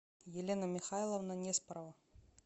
елена михайловна неспорова